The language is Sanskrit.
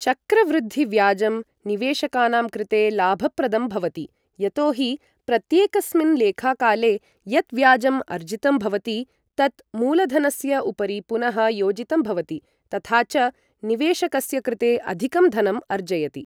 चक्रवृद्धिव्याजं निवेशकानां कृते लाभप्रदं भवति, यतो हि प्रत्येकस्मिन् लेखाकाले यत् व्याजम् अर्जितं भवति, तत् मूलधनस्य उपरि पुनः योजितं भवति, तथा च निवेशकस्य कृते अधिकं धनम् अर्जयति।